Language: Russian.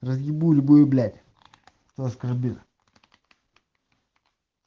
разъебу любую блять кто оскорбит